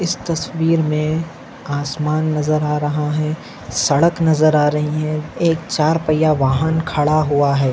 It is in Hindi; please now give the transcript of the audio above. इस तस्वीर मे आसमान नजर आ रहा है सड़क नजर आ रही है। एक चार पहिया वाहन खड़ा हुआ है।